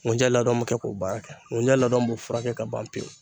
Nkunjɛ labɛn me kɛ k'o baara kɛ , nkunɛ labɛn b'o furakɛ ka ban pewu.